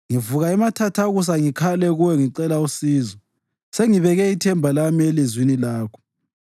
Ngivuka emathathakusa ngikhale kuwe ngicela usizo; sengibeke ithemba lami elizwini lakho.